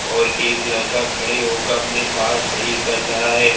और एक लड़का खड़े होकर अपने बाल सही कर रहा है।